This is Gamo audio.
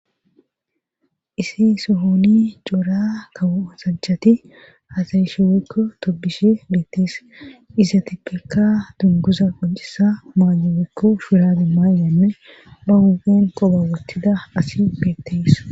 isi suhoni coora kawsacchati hasayisheekko tobishi beettees iza tipekka dunguza gojisa maayobekko shiradi maayyanne ba gugen qobawottida asi peettees